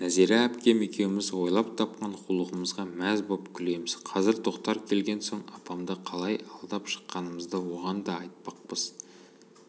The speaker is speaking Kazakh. нәзира әпкем екеуміз ойлап тапқан қулығымызға мәз боп күлеміз қазір тоқтар келген соң апамды қалай алдап шыққанымызды оған да айтпақпыз